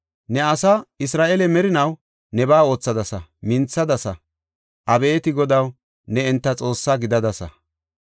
Ne asaa Isra7eele merinaw nebaa oothadasa; minthadasa. Abeeti Godaw, ne enta Xoossa gidadasa.